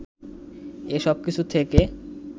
এ সবকিছু থেকে